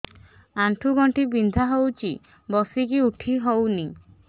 ଆଣ୍ଠୁ ଗଣ୍ଠି ବିନ୍ଧା ହଉଚି ବସିକି ଉଠି ହଉନି